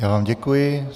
Já vám děkuji.